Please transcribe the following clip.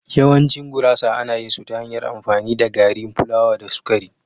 Yawancin gurasa ana yin su ta hanyar amfani da gari plawa da sukari.